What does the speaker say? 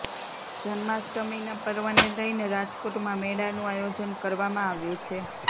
જન્માષ્ટમીના પર્વને લઈને રાજકોટમાં મેળાનું આયોજન કરવામાં આવ્યું છે